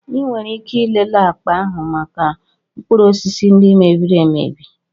Ị nwere ike ịlele akpa ahụ maka mkpụrụ osisi ndị mebiri emebi.